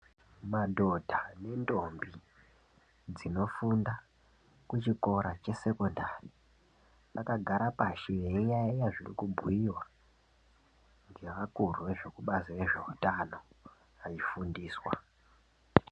Madhodha nendombi dzinofunda kuchikora chesekondari vakagara pashi veiyaeya zvirikubhuyiwa ngevakuru vezvekubazi reveutano veifundiswa